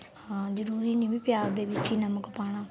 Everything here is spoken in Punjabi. ਹਾਂ ਜਰੂਰੀ ਨੀ ਵੀ ਪਿਆਜ ਦੇ ਵਿੱਚ ਹੀ ਨਮਕ ਪਾਣਾ